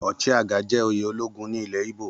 Ochiagha jẹ́ oyè ológun ní ilẹ̀ íbò